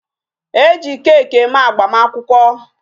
E ji cake eme agbamakwụkwọ.